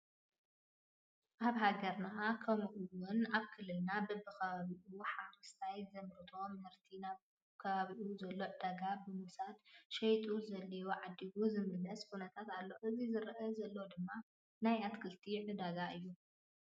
ኣብ ሃገርና ከማኡ እውን ኣብ ክልልና በቢ ከባቢ ኡ ሓረስታይ ዘምረቶ ምህርቱ ናብ ኣብ ከባቢ ኡ ዞሎ ዕዳጋ ብምውሳድ ሸይጡ ዘድልዮ ዓዲጉ ዝምለሰሉ ኩነታት ኣሎ እዚ ዝረ አ ዘሎድማ ናይ ኣትክልቲ ዕዳጋ እዩ::